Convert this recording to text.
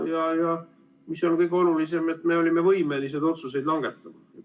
Ja kõige olulisem on, et me olime võimelised otsuseid langetama.